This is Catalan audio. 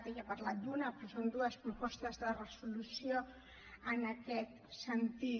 ella ha parlat d’una però són dues propostes de resolució en aquest sentit